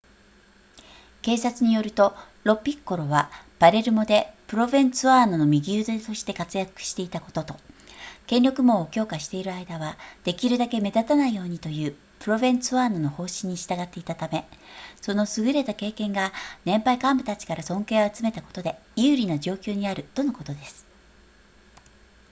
警察によるとロピッコロはパレルモでプロヴェンツァーノの右腕として活躍していたことと権力網を強化している間はできるだけ目立たないようにというプロヴェンツァーノの方針に従っていたためその優れた経験が年配幹部たちから尊敬を集めたことで有利な状況にあるとのことです